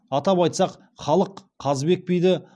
атап айтсақ халық қазыбек биді